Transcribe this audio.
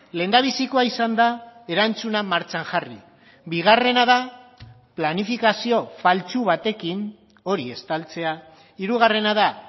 lehendabizikoa izan da erantzuna martxan jarri bigarrena da planifikazio faltsu batekin hori estaltzea hirugarrena da